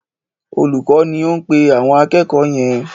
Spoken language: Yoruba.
Olùkọ́ ni ó ń pe àwọn akẹ̀kọ́ọ̀ yẹn.